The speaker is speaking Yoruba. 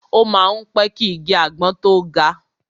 O má ń pẹ́ ki igi àgbọn tó ga.